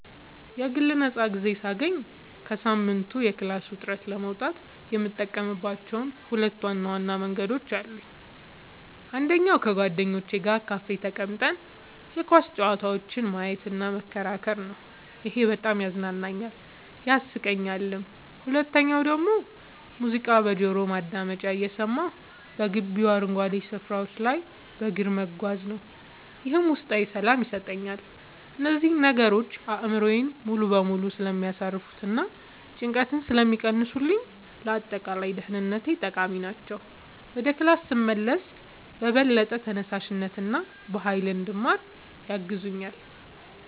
የግል ነፃ ጊዜ ሳገኝ ከሳምንቱ የክላስ ውጥረት ለመውጣት የምጠቀምባቸው ሁለት ዋና መንገዶች አሉኝ። አንደኛው ከጓደኞቼ ጋር ካፌ ተቀምጠን የኳስ ጨዋታዎችን ማየትና መከራከር ነው፤ ይሄ በጣም ያዝናናኛል፣ ያሳቀኛልም። ሁለተኛው ደግሞ ሙዚቃ በጆሮ ማዳመጫ እየሰማሁ በግቢው አረንጓዴ ስፍራዎች ላይ በእግር መጓዝ ነው፤ ይህም ውስጣዊ ሰላም ይሰጠኛል። እነዚህ ነገሮች አእምሮዬን ሙሉ በሙሉ ስለሚያሳርፉትና ጭንቀትን ስለሚቀንሱልኝ ለአጠቃላይ ደህንነቴ ጠቃሚ ናቸው። ወደ ክላስ ስመለስም በበለጠ ተነሳሽነትና በሃይል እንድማር ያግዙኛል።